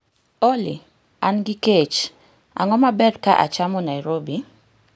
Olly, an gi kech, ang'o ma ber ka achamo Nairobi?